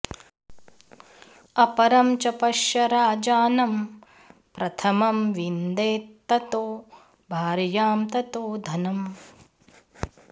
अपरं च पश्य राजानं प्रथमं विन्देत्ततो भार्यां ततो धनम्